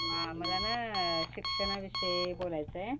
हं मला न शिक्षणाविषयी बोलायचय.